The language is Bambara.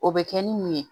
O bɛ kɛ ni mun ye